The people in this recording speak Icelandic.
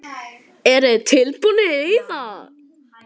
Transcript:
Eruð þið tilbúnir í það?